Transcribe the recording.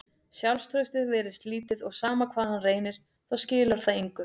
Sjálfstraustið virðist lítið og sama hvað hann reynir þá skilar það engu.